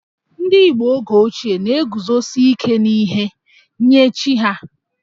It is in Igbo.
Ndị Igbo oge ochie na-eguzosi ike n'ihe nye chi ha